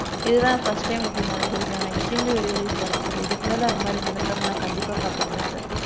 இது தா் first time இப்பிடி நடந்திருக்கு. I am extremely very very sorry sir. . இதுக்கு மேல அந்த மாதிரி நடக்காம நான் கண்டிப்பா பாத்துக்குறேன் sir.